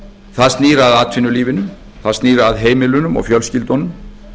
það snýr að atvinnulífinu það snýr að heimilunum og fjölskyldunum